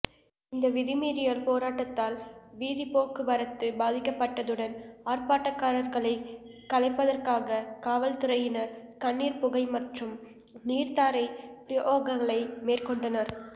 இந்த வீதிமறியல் போராட்டத்தால் வீதிபோக்குவரத்து பாதிக்கப்பட்டதுடன் ஆர்ப்பாட்டக்காரர்களை கலைப்பதற்காக காவற்துறையினர் கண்ணீர் புகை மற்றும் நீர்த்தாரை பிரயோகங்களை மேற்கொண்டனர்